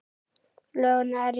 Lóu nærri sér.